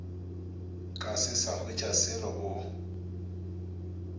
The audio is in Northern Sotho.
ka se sa hwetšaselo o